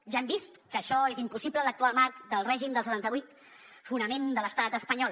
ja hem vist que això és impossible en l’actual marc del règim del setanta vuit fonament de l’estat espanyol